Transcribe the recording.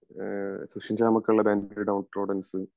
പിന്നെ സുഷിൻ ഷ്യമൊക്കെ ഉള്ള ബാൻഡ് ഡോട്രോഡാന്സ